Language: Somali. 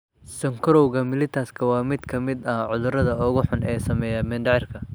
Sonkorowga mellitus waa mid ka mid ah cudurrada ugu xun ee saameeya mindhicirka